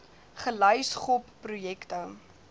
gelys gop projekte